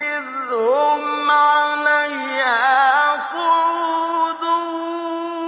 إِذْ هُمْ عَلَيْهَا قُعُودٌ